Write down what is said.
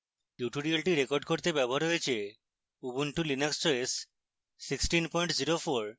tutorial record করতে ব্যবহৃত হয়েছে: ubuntu linux os 1604